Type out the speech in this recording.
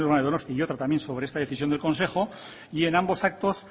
de donostia y otra también sobre esta decisión del consejo y en ambos actos